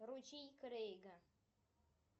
ручей крейга